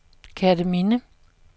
Kerteminde